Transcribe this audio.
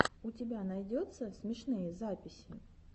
у тебя найдется смешные записи